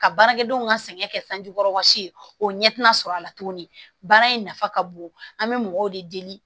Ka baarakɛdenw ka sɛgɛn kɛ sanji kɔrɔ ka si o ɲɛ tina sɔrɔ a la tuguni baara in nafa ka bon an bɛ mɔgɔw de deli